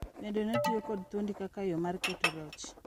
Bende notiyo kod dhoudi kaka yo mar keto loch,